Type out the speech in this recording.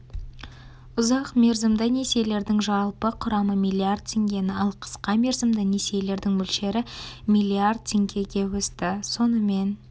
ұзақ мерзімді несиелердің жалпы құрамы млдр теңгені ал қысқа мерзімді несиелердің мөлшері млрд теңгеге өсті сонымен